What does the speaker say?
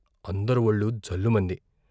అందరి వొళ్లు జల్లుమంది.